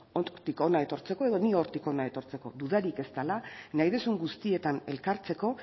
hortik hona etortzeko edo nik hortik hona etortzeko dudarik ez dela nahi duzun guztietan elkartzeko